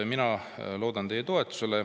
Mina loodan teie toetusele.